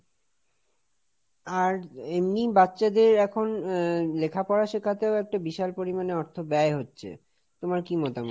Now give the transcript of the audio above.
আর এমনিই বাচ্চাদের এখন লেখাপড়া শেখাতেও একটা বিশাল পরিমাণে অর্থ ব্যয় হচ্ছে। তোমার কি মতামত?